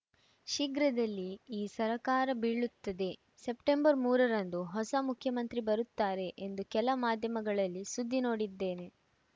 ಶೀಘ್ರದಲ್ಲೇ ಈ ಸರ್ಕಾರ ಬೀಳುತ್ತದೆ ಸೆಪ್ಟೆಂಬರ್ ಮೂರರಂದು ಹೊಸ ಮುಖ್ಯಮಂತ್ರಿ ಬರುತ್ತಾರೆ ಎಂದು ಕೆಲ ಮಾಧ್ಯಮಗಳಲ್ಲಿ ಸುದ್ದಿ ನೋಡಿದ್ದೇನೆ